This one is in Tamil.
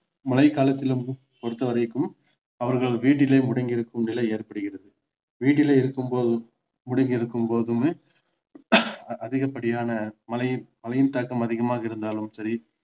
மழை காலத்தில் வந்து பொறுத்த வரைக்கும் அவர்கள் வீட்டிலே முடங்கி இருக்கும் நிலை ஏற்படுகிறது வீட்டிலே இருக்கும் போது முடங்கி இருக்கும் போதுமே அதிகபடியான மழை மழையின் தாக்கம் அதிகமாக இருந்தாலும் சரி